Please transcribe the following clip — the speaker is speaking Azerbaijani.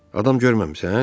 Adam görməmisən?